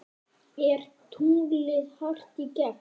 Er tunglið hart í gegn?